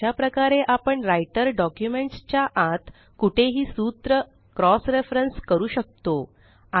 तर अशा प्रकारे आपण राइटर डॉक्युमेंट्स च्या आत कुठेही सूत्र क्रॉस रेफरन्स करू शकतो